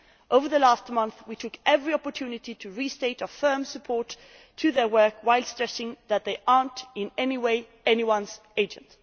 Over the last month we took every opportunity to restate our firm support for their work, whilst stressing that they are not, in any way, anyone's agent.